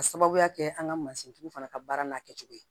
Ka sababuya kɛ an ka mansintigiw fana ka baara n'a kɛcogo ye